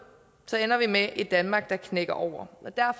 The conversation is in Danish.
ender vi med et danmark der knækker over